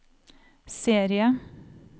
serie